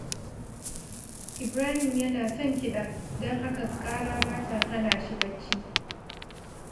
Ibrahim yana son kiɗa, don haka ƙara ba ta hana shi barci